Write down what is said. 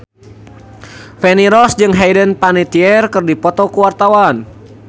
Feni Rose jeung Hayden Panettiere keur dipoto ku wartawan